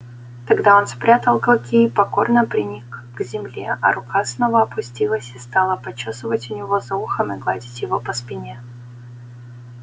тогда он спрятал клыки и покорно приник к земле а рука снова опустилась и стала почёсывать у него за ухом и гладить его по спине